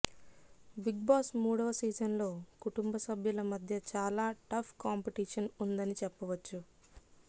big boss మూడవ season లో కుటుంబ సభ్యుల మధ్య చాల టఫ్ కాంపిటీషన్ ఉందని చెప్పవచ్చు